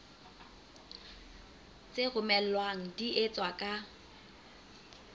tse romellwang di etswa ka